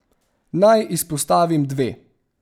Naj izpostavim dve.